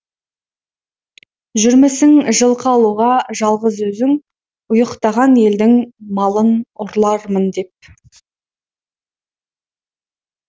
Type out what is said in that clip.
жүрмісің жылқы алуға жалғыз өзің ұйқтаған елдің малын ұрлармын деп